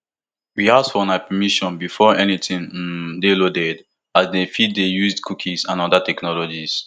we ask for una permission before anytin um dey loaded as dem fit dey use cookies and oda technologies